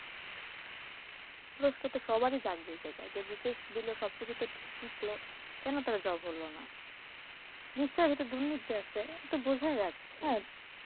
প্রশ্ন তো সবার ই জাগবে BCS দিল সব কিছু ঠিক টিকলো কেন তাদের job হলো না নিশ্চয় তাদের এটায় দুর্নীতি আসে এটা তো বোঝাই যাচ্ছে,